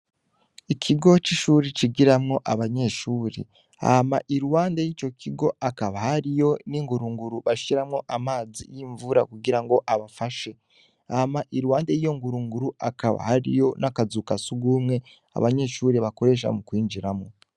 Ikigo c'ihuri cigiramwo abanyeshuri hama iruhande yico kigo hakaba hariyo n'ingurunguru bashiramwo amazi yimvura kugirango abafashe hama iruhande yiyo ngurunguru hakaba hariyo n'akazu ka sugumwe abanyeshuri bakoresha mu kwinjiramwo.